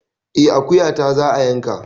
Eh akuyata za a yanka